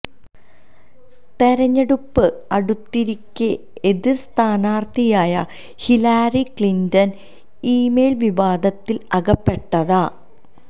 തെരഞ്ഞെടുപ്പ് അടുത്തിരിക്കെ എതിർ സ്ഥാനാർത്ഥിയായ ഹിലാരി ക്ലിന്റൺ ഇ മെയിൽ വിവാദത്തിൽ അകപ്പെട്ടതാ